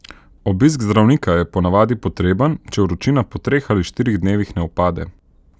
Obisk zdravnika je ponavadi potreben, če vročina po treh ali štirih dnevih ne upade.